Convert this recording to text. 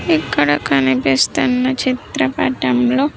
ఇక్కడ కనిపిస్తున్న చిత్రపటంలో.